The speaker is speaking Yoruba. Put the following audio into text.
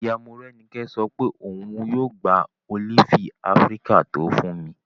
Ìyá Morẹ́nikẹ́ sọ pé òun yóò gba ólífì áfíríkà tó fún mi